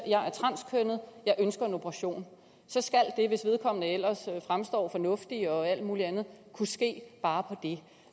at og ønsker en operation så skal det hvis vedkommende ellers fremstår fornuftig og alt muligt andet kunne ske bare på det